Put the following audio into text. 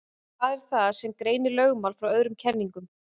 Hvað er það sem greinir lögmál frá öðrum kenningum?